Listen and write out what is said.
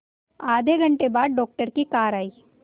आधे घंटे बाद डॉक्टर की कार आई